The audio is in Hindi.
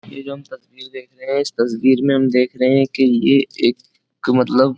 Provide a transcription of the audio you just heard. ये जो हम तस्वीर देख रहे हैं इस तस्वीर में हम देख रहे हैं कि ये एक मतलब --